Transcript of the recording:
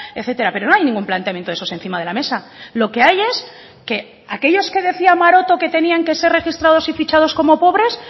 etcétera pero no hay ningún planteamiento de esos encima de la mesa lo que hay es que aquellos que decía maroto que tenían que ser registrados y fichados como pobres